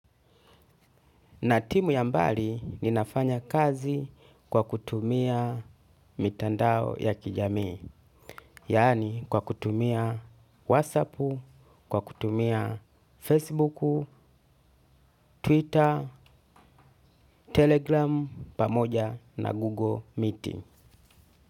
Na timu ya mbali ni nafanya kazi kwa kutumia mitandao ya kijamii. Yani kwa kutumia WhatsApp, kwa kutumia Facebook, Twitter, Telegram, pamoja na Google Meetings.